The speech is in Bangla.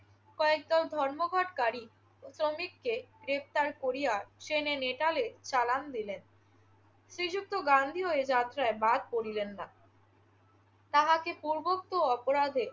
কয়েকজন ধর্মঘটকারী শ্রমিককে গ্রেফতার করিয়া ট্রেনে নেটালে চালান দিলেন। শ্রীযুক্ত গান্ধীও এ যাত্রায় বাদ পড়িলেন না। তাহাকে পূর্বোক্ত অপরাধে